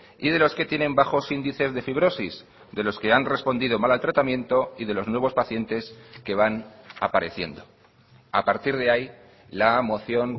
y de los que tienen bajos índices de fibrosis de los que han respondido mal al tratamiento y de los nuevos pacientes que van apareciendo a partir de ahí la moción